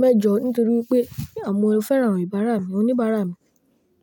mẹ́jọ nítorí wípé à mo fẹ́ràn o ìbàrá mi, oníbara mi.